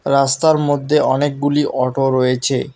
রাস্তার মধ্যে অনেকগুলি অটো রয়েছে।